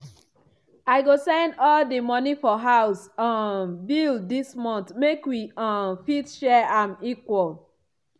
i go send all di money for house um bill dis month make wi um fit share am equal equal.